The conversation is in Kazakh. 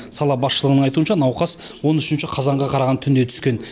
сала басшылығының айтуынша науқас он үшінші қазанға қараған түнде түскен